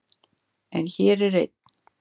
En hér er ein.